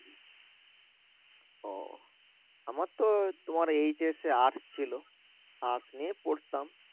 আহ আমার তো তোমার HS এ Ars ছিল Ars নিয়ে পড়তাম